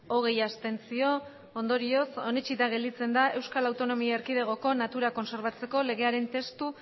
hogei abstentzio ondorioz onetsita gelditzen da euskal autonomia erkidegoko natura kontserbatzeko legearen testu